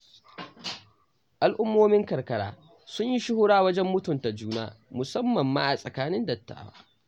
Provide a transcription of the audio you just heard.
Al'ummomin karkara sun yi shuhura wajen mutunta juna, musammam ma a tsakanin dattawa.